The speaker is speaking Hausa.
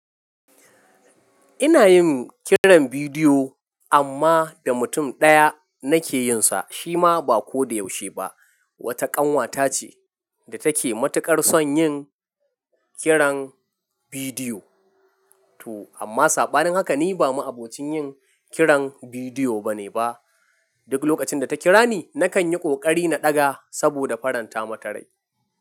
Ina yin kiran bidiyo amma da mutum ɗaya nake yin sa, shi ma ba ko da yaushe ba. Wata ƙanwata ce da take matuƙar son yin kiran bidiyo. To amma saɓanin haka ni ba ma'abocin yin kiran bidiyo bane ba. Duk lokacin da ta kira ni, nakan yi ƙoƙari na ɗaga saboda faranta mata rai.